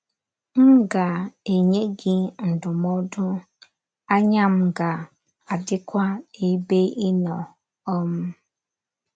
M ga - enye gị ndụmọdụ, anya m ga -- adịkwa n’ebe ị nọ. um ”